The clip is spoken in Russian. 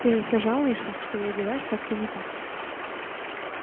ты же всё жалуешься что я одеваюсь как-то не так